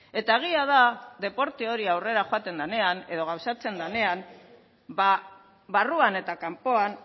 eta egia da deporte hori aurrera joaten denean edo gauzatzen denean barruan eta kanpoan